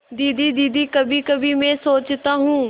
दीदी दीदी कभीकभी मैं सोचता हूँ